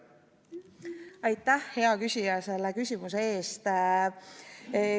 Aitäh, hea küsija, selle küsimuse eest!